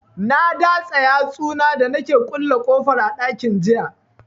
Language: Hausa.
Na datsa yatsu na da nake kulle kofar ɗakin jiya